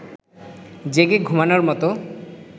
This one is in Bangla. জেগে ঘুমোনোর মতো